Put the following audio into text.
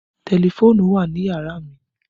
Tẹlifóònùn wà ní yàrá mi